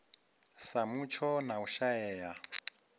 sa mutsho na u shaea